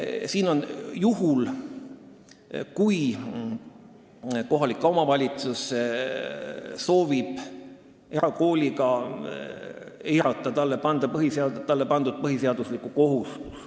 Siin on silmas peetud juhtu, kui kohalik omavalitsus soovib erakooli abil eirata talle pandud põhiseaduslikku kohustust.